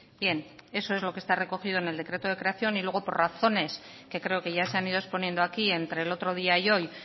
bien eso es lo que está recogido en el decreto de creación y luego por razones que creo que ya se han ido exponiendo aquí entre el otro día y hoy